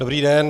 Dobrý den.